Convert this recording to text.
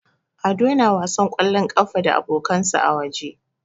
Ado yana wasan ƙwallon ƙafa da abokansa a waje.